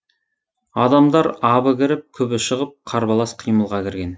адамдар абы кіріп күбі шығып қарбалас қимылға кірген